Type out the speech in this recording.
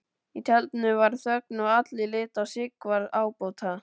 Í tjaldinu varð þögn og allir litu á Sigvarð ábóta.